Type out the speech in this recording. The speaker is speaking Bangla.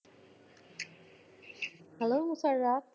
Hello